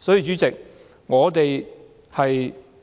所以，主席，我們